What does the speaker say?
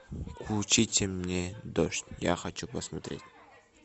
включите мне дождь я хочу посмотреть